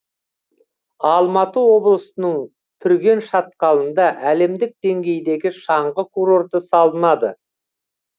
алматы облысының түрген шатқалында әлемдік деңгейдегі шаңғы курорты салынады